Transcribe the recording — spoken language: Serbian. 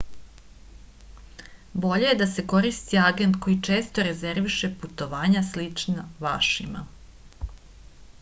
bolje je da se koristi agent koji često rezerviše putovanja slična vašima